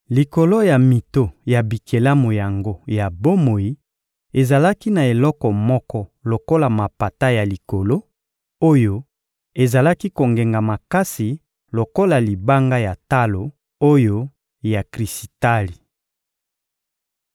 Likolo ya mito ya bikelamu yango ya bomoi ezalaki na eloko moko lokola mapata ya likolo, oyo ezalaki kongenga makasi lokola libanga ya talo oyo ya krisitali.